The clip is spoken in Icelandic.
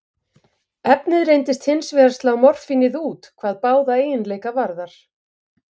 Efnið reyndist hins vegar slá morfínið út hvað báða eiginleika varðar.